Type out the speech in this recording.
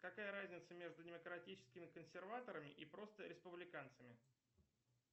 какая разница между демократическими консерваторами и просто республиканцами